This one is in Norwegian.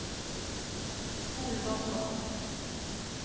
spol bakover